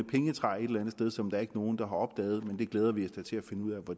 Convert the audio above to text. andet sted som der ikke er nogen der har opdaget men det glæder vi os da til at finde ud af hvor